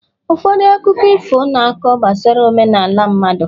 ụfọdụ akụkọ ifo na-akọ gbasara omenala mmadụ